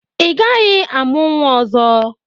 Ị gaghị amụ nwa ọzọ!